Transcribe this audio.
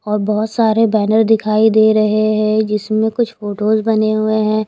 और बहुत सारे बैनर दिखाई दे रहे हैं जिसमें कुछ फोटोस बने हुए हैं।